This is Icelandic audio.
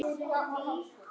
Nú er hann farinn aftur